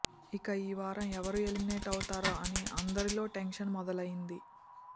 ఇక ఈ వారం ఎవరు ఎలిమినేట్ అవుతారో అని అందరిలో టెన్షన్ మొదలు అయ్యింది